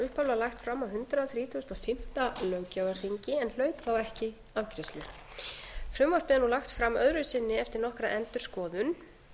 upphaflega lagt fram á hundrað þrítugasta og fimmta löggjafarþingi en hlaut þá ekki afgreiðslu frumvarpið er nú lagt fram öðru sinni eftir nokkra endurskoðun